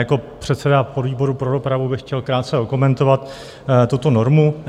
Jako předseda podvýboru pro dopravu bych chtěl krátce okomentovat tuto normu.